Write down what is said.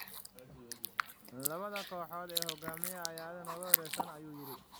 Labada kooxood ee hogaaminaya aad ayay nooga horeeyeen, ayuu yidhi."